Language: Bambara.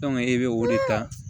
e bɛ o de ta